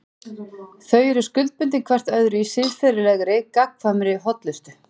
Þau eru skuldbundin hvert öðru í siðferðilegri, gagnkvæmri hollustu.